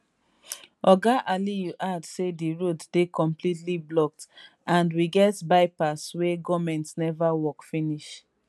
oga aliyu add say di road dey completely blocked and we get byepass wey goment neva work finish